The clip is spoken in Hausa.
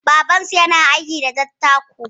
Babansu yana aiki da dattako.